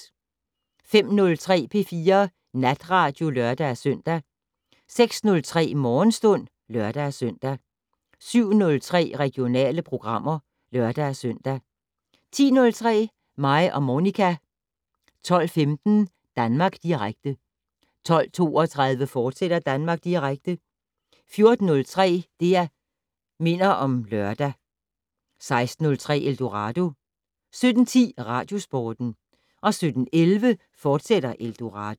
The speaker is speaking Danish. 05:03: P4 Natradio (lør-søn) 06:03: Morgenstund (lør-søn) 07:03: Regionale programmer (lør-søn) 10:03: Mig og Monica 12:15: Danmark Direkte 12:32: Danmark Direkte, fortsat 14:03: Det' Minder om Lørdag 16:03: Eldorado 17:10: Radiosporten 17:11: Eldorado, fortsat